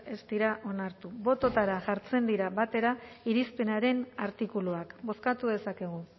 ez dira onartu bototara jartzen dira batera irizpenaren artikuluak bozkatu dezakegu